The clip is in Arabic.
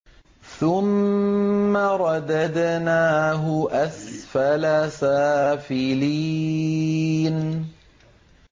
ثُمَّ رَدَدْنَاهُ أَسْفَلَ سَافِلِينَ